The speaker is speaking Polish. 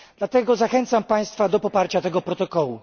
Dlatego zachęcam państwa do poparcia tego protokołu.